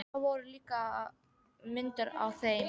Það voru líka myndir af þeim.